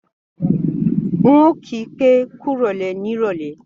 N ò kí pé kúròlè ní ìrọ̀lé